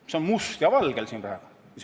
See on nii siin must valgel praegu.